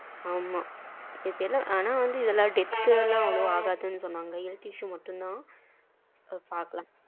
ஆமா இப்போ ஏதோ death எல்லாம் அவ்ளோவா ஆகுதுன்னு சொன்னாங்க health issue மட்டும் தான் பாக்கலாம்.